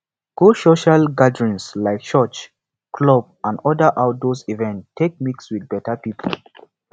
go social gatherings like church club and other outdoor events take mix with better pipo